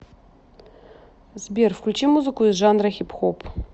сбер включи музыку из жанра хип хоп